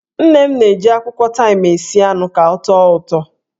Nne m na-eji akwụkwọ taịm esi anụ ka ọ tọọ ụtọ.